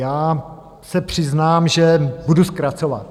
Já se přiznám, že budu zkracovat.